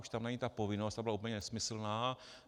Už tam není ta povinnost, ta byla úplně nesmyslná.